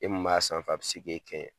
E min b'a sanfɛ a bɛ se k'e kɛɲɛ!